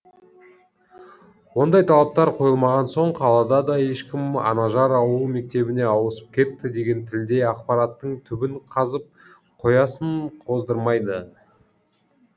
ондай талаптар қойылмаған соң қалада да ешкім анажар ауыл мектебіне ауысып кетті деген тілдей ақпараттың түбін қазып қоясын қоздырмайды